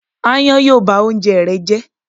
Ááyán yóò ba oúnjẹ rẹ jẹ́.